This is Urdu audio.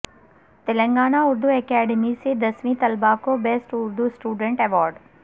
تلنگانہ اردو اکیڈیمی سے دسویں طلبہ کو بیسٹ اردو اسٹوڈنٹ ایوارڈس